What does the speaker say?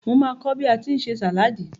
Màá kọ́ bí a tí ń ṣe sàláadì.